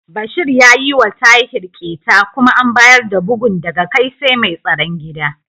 Bashir ya yiwa Tahir ƙyeta kuma an bayar da bugun daga kai sai mai tsaron gida.